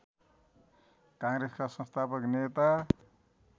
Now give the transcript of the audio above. काङ्ग्रेसका संस्थापक नेता